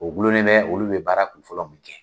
O gulonnen bɛ olu be baara kun fɔlɔ min kɛ.